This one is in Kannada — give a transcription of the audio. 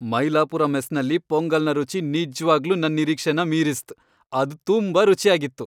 ಮೈಲಾಪುರ ಮೆಸ್ನಲ್ಲಿ ಪೊಂಗಲ್ನ ರುಚಿ ನಿಜ್ವಾಗ್ಲೂ ನನ್ ನಿರೀಕ್ಷೆನ ಮೀರಿಸ್ತ್. ಅದು ತುಂಬಾ ರುಚಿಯಾಗಿತ್.